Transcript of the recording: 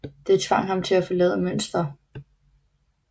Det tvang ham til at forlade Münster